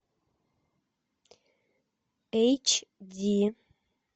эйч ди